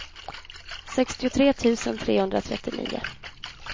sextiotre tusen trehundratrettionio